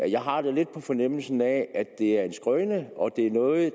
jeg har lidt på fornemmelsen at det er en skrøne og at det er noget